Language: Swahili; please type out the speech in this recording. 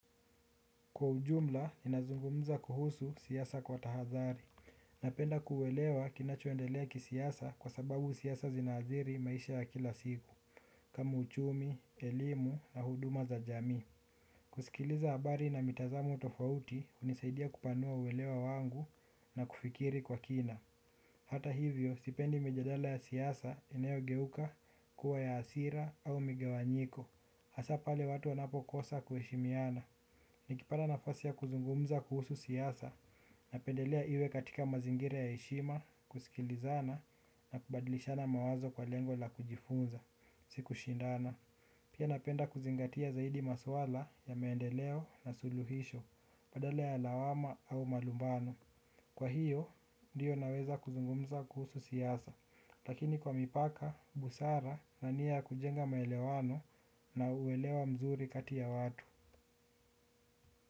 Kwa ujumla ninazungumza kuhusu siasa kwa tahadhari. Napenda kuelewa kinachoendelea kisiasa kwa sababu siasa zinaathiri maisha ya kila siku, kama uchumi, elimu na huduma za jamii kusikiliza habari na mitazamo tofauti, hunisaidia kupanua uelewa wangu na kufikiri kwa kina. Hata hivyo, sipendi mijadala ya siasa inayogeuka kuwa ya hasira au migawanyiko. Hasa pale watu wanapo kosa kuheshimiana, nikipata nafasi ya kuzungumza kuhusu siasa, napendelea iwe katika mazingira ya heshima, kusikilizana, na kubadlishana mawazo kwa lengo la kujifunza, si kushindana. Pia napenda kuzingatia zaidi maswala ya maendeleo na suluhisho, badala ya lawama au malumbano. Kwa hiyo, ndiyo naweza kuzungumza kuhusu siasa lakini kwa mipaka, busara na nia ya kujenga maelewano na uwelewa mzuri kati ya watu.